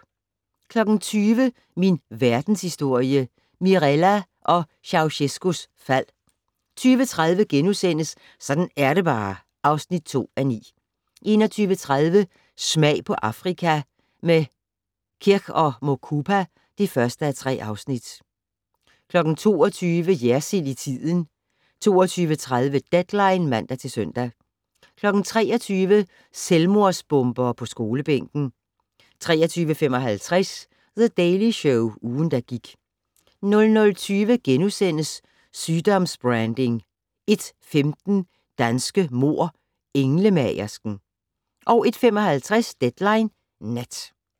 20:00: Min Verdenshistorie - Mirella og Ceaucescaus fald 20:30: Sådan er det bare (2:9)* 21:30: Smag på Afrika - med Kirk & Mukupa (1:3) 22:00: Jersild i tiden 22:30: Deadline (man-søn) 23:00: Selvmordsbombere på skolebænken 23:55: The Daily Show - ugen, der gik 00:20: Sygdoms-branding * 01:15: Danske mord: Englemagersken 01:55: Deadline Nat